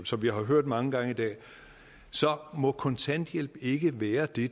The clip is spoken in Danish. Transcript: som vi har hørt mange gange i dag må kontanthjælp ikke være det